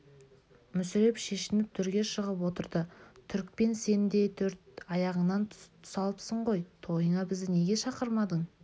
мүсіреп шешініп төрге шығып отырды түрікпен сен де төрт аяғыңнан тұсалыпсың ғой тойыңа бізді неге шақырмадың